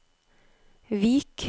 Vik